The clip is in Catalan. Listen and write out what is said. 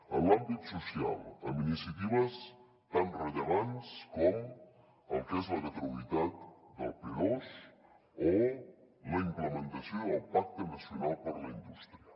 en l’àmbit social amb iniciatives tan rellevants com el que és la gratuïtat del p2 o la implementació del pacte nacional per a la indústria